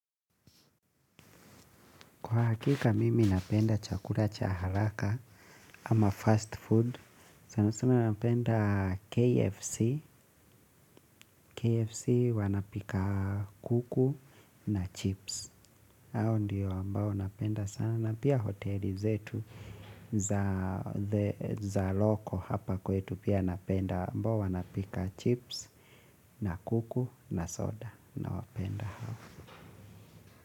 Kwa hakika, mimi napenda chakula cha halaka ama fast food. Sana sana napenda KFC. KFC wanapika kuku na chips. Hao ndiyo ambao napenda sana. Na pia hoteli zetu za loko hapa kwetu. Pia napenda ambao wanapika chips na kuku na soda. Nawapenda hao.